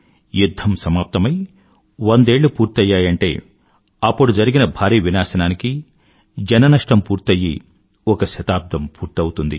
యుధ్ధం సమాప్తమై వందేళ్ళు పూర్తయ్యాయంటే అప్పుడు జరిగిన భారీవినాశనానికీ జన నష్టం పూర్తయ్యి ఒక శతాబ్దం పూర్తవుతుంది